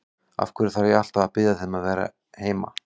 Af hverju þarf ég alltaf að biðja þig um að vera heima?